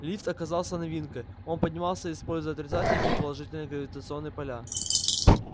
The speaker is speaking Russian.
лифт оказался новинкой он поднимался используя отрицательные и положительные гравитационные поля